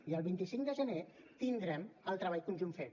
i el vint cinc de gener tindrem el treball conjunt fet